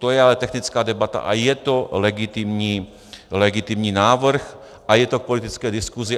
To je ale technická debata a je to legitimní návrh a je to k politické diskusi.